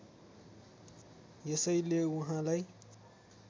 यसैले उहाँलाई